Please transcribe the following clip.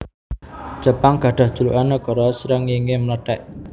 Jepang gadhah julukan Nagara Srengéngé Mlethèk